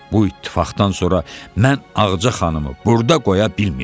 Bu ittifaqdan sonra mən Ağca xanımı burda qoya bilməyəcəm.